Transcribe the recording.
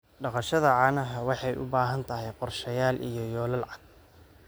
Dhaqashada caanaha waxay u baahan tahay qorshayaal iyo yoolal cad.